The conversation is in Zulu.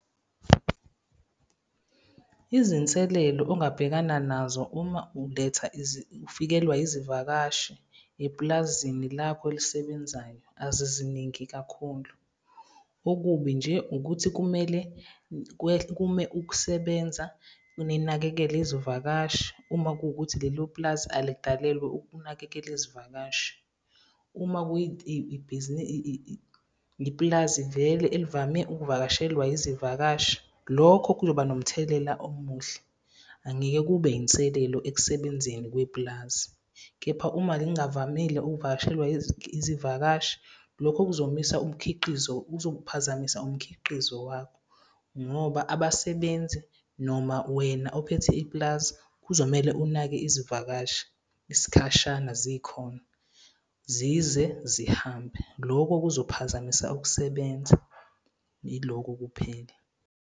Izinselelo ongabhekana nazo uma uletha ufikelwa izivakashi epulazini lakho elisebenzayo, aziziningi kakhulu. Okubi nje ukuthi kumele kume ukusebenza ninakekele izivakashi uma kuwukuthi lelo pulazi alikalelwa ukunakekela izivakashi. Uma ipulazi vele elivame ukuvakashelwa izivakashi, lokho kuzoba nomthelela omuhle. Angeke kube iy'nselelo ekusebenzeni kwepulazi. Kepha uma zingavamile ukuvakashelwa izivakashi lokho kuzomisa umkhiqizo, uzophazamisa umkhiqizo wakho. Ngoba abasebenzi noma wena ophethe ipulazi kuzomele unake izivakashi isikhashana zikhona zize zihambe loko kuzophazamisa ukusebenza. Yiloko kuphela.